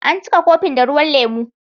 An cika kofin da ruwan lemu.